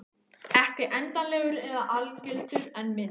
Ekki endanlegur eða algildur en minn.